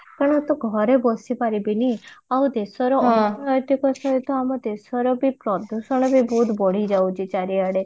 ତ ମୁଁ ତ ଘରେ ବସି ପାରିବିନି ଆଉ ଦେଶର ଅର୍ଥନୈତିକ ସହିତ ଆମ ଦେଶର ବହୁତ ବଢି ଯାଉଛି ଚାରିଆଡେ